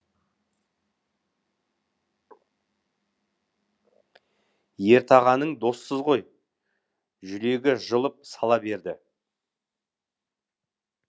ертағаның досысыз ғой жүрегі жылып сала берді